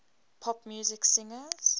pop music singers